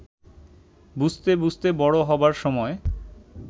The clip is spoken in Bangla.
বুঝতে বুঝতে বড় হবার সময়